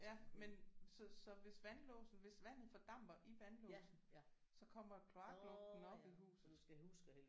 Ja men så så hvis vandlåsen hvis vandet fordamper i vandlåsen så kommer kloaklugten op i huset